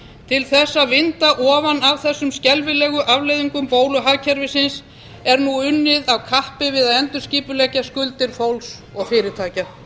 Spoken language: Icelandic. til þess að vinda ofan af þessum skelfilegu afleiðingum bóluhagkerfisins er nú unnið af kappi við að endurskipuleggja skuldir fólks og fyrirtækja